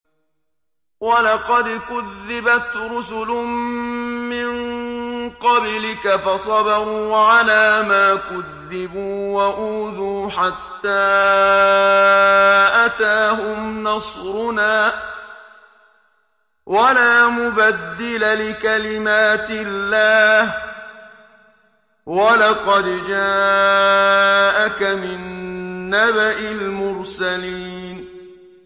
وَلَقَدْ كُذِّبَتْ رُسُلٌ مِّن قَبْلِكَ فَصَبَرُوا عَلَىٰ مَا كُذِّبُوا وَأُوذُوا حَتَّىٰ أَتَاهُمْ نَصْرُنَا ۚ وَلَا مُبَدِّلَ لِكَلِمَاتِ اللَّهِ ۚ وَلَقَدْ جَاءَكَ مِن نَّبَإِ الْمُرْسَلِينَ